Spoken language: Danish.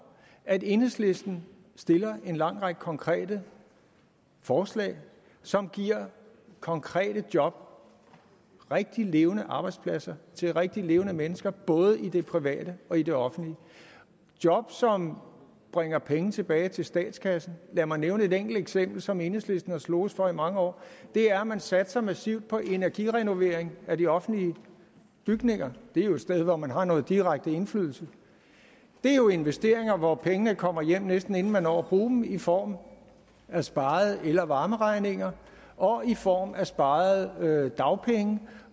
at enhedslisten stiller en lang række konkrete forslag som giver konkrete job rigtige levende arbejdspladser til rigtige levende mennesker i både det private og i det offentlige job som bringer penge tilbage til statskassen lad mig nævne et enkelt eksempel som enhedslisten har sloges for i mange år det er at man satser massivt på energirenovering af de offentlige bygninger det er jo et sted hvor man har noget direkte indflydelse det er jo investeringer hvor pengene kommer hjem næsten inden man når at bruge dem i form af sparede el og varmeregninger og i form af sparede dagpenge